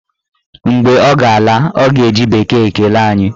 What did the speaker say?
Mgbe ọ ga-ala, ọ ga-eji bekee kelee anyị